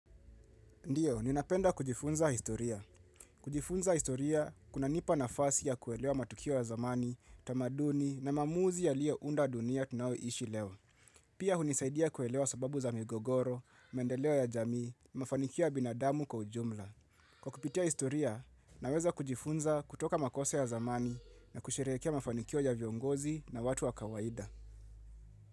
Ndiyo, ninapenda kujifunza historia. Kujifunza historia, kunanipa nafasi ya kuelewa matukio ya zamani, tamaduni na maamuzi yaliyounda dunia tunayoishi leo. Pia hunisaidia kuelewa sababu za migogoro, maendeleo ya jamii, mafanikio ya binadamu kwa ujumla. Kwa kupitia historia, naweza kujifunza kutoka makosa ya zamani na kusherehekea mafanikio ya viongozi na watu wa kawaida.